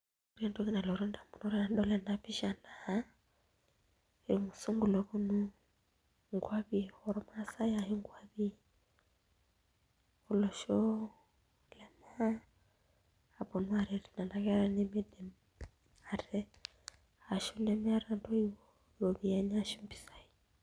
Ore entoki nalotu indamunot tenadol ena pisha naa irmusungu looponu nkuapi ormaasae ashu nkuapi aaponu aaret nena kera nemiidim ate ashu nemeeta ntoiwuo iropiyiani ashu mpisaai.